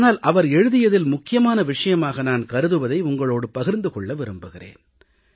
ஆனால் அவர் எழுதியதில் முக்கியமான விஷயமாக நான் கருதுவதை உங்களோடு பகிர்ந்து கொள்ள விரும்புகிறேன்